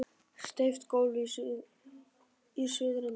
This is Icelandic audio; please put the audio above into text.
Steypt gólf í suðurenda.